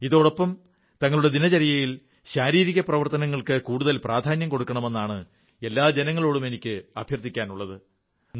ഇതോടൊപ്പം തങ്ങളുടെ ദിനചര്യയിൽ ശാരീരിക പ്രവർത്തനങ്ങൾക്ക് കൂടുതൽ പ്രാധാന്യം കൊടുക്കണമെന്നാണ് എല്ലാ ജനങ്ങളോടും എനിക്ക് അഭ്യർഥിക്കാനുള്ളത്